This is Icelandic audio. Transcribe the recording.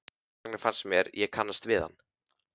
Þess vegna fannst mér ég kannast við hann.